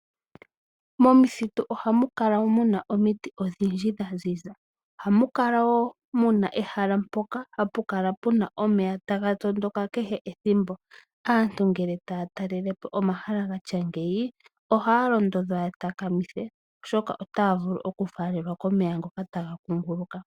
Momuthitu ohamu kala omuna omiti odhindji dhaziza, ohamu kala wo muna ehala mpoka hapukala puna omeya taga tondoka kehe ethimbo. Aantu ngele taya talelepo omahala gatya ngeyi ohaya londodhwa ya takamithe oshoka otaya vulu okufalelwa komeya ngoka taga kunguluka.